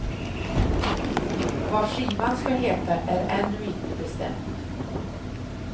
Vad skivan ska heta är ännu inte bestämt.